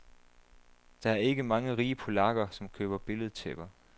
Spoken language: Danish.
Der er ikke mange rige polakker, som køber billedtæpper.